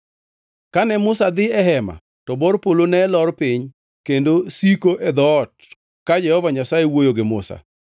Kane Musa dhi e Hema to bor polo ne lor piny kendo siko e dhoot ka Jehova Nyasaye wuoyo gi Musa.